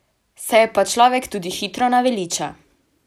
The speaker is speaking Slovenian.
Se je pa človek tudi hitro naveliča.